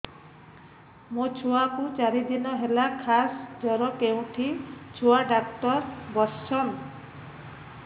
ମୋ ଛୁଆ କୁ ଚାରି ଦିନ ହେଲା ଖାସ ଜର କେଉଁଠି ଛୁଆ ଡାକ୍ତର ଵସ୍ଛନ୍